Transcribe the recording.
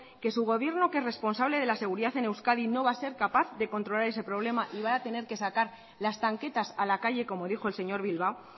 que su gobierno que es responsable de la seguridad en euskadi no va a ser capaz de controlar ese problema y va a tener que sacar las tanquetas a la calle como dijo el señor bilbao